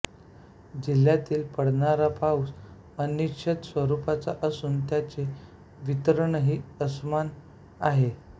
जिल्ह्यातील पडणारा पाऊस अनिश्चित स्वरुपाचा असून त्याचे वितरणही असमान आहे